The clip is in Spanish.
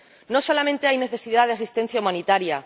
No solamente hay necesidad de asistencia humanitaria.